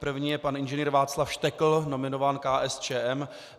První je pan Ing. Václav Štekl, nominován KSČM.